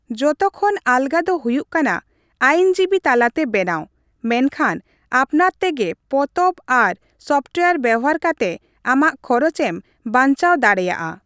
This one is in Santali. ᱡᱚᱛᱚ ᱠᱷᱚᱱ ᱟᱞᱜᱟ ᱫᱚ ᱦᱩᱭᱩᱜ ᱠᱟᱱᱟ ᱟᱹᱭᱤᱱᱡᱤᱵᱤ ᱛᱟᱞᱟᱛᱮ ᱵᱮᱱᱟᱣ, ᱢᱮᱱᱠᱷᱟᱱ ᱟᱯᱱᱟᱨ ᱛᱮᱜᱮ ᱯᱚᱛᱚᱵ ᱟᱨ ᱥᱚᱯᱷᱴᱳᱣᱟᱨ ᱵᱮᱣᱦᱟᱨ ᱠᱟᱛᱮ ᱟᱢᱟᱜ ᱠᱷᱚᱨᱚᱪ ᱮᱢ ᱵᱟᱧᱪᱟᱣ ᱫᱟᱲᱮᱭᱟᱜᱼᱟ ᱾